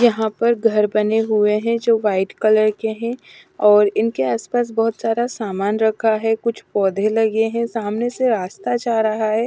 यहाँ पर घर बने हुए हैं जो व्हाईट कलर के हैं और इनके आसपास बहुत सारा सामान रखा है कुछ पौधे लगे हैं सामने से रास्ता जा रहा है।